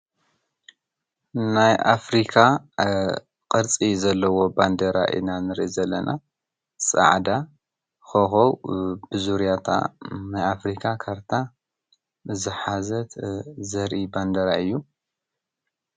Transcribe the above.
ናይ ኣፍርካ ቅርፂ ዘሎዎ ባንዴራ ኢና ንርኢ ዘለና፡፡ ፃዕዳ ኾኾብ ብዙርያ እታ ናይ ኣፍሪካ ካርታ ዝሓዘት ዘርኢ ባንዴራ እዩ፡፡